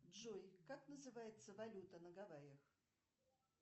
джой как называется валюта на гавайях